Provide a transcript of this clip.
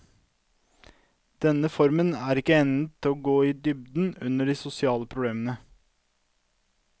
Denne formen er ikke egnet til å gå i dybden under de sosiale problemer.